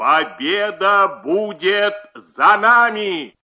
победа будет за нами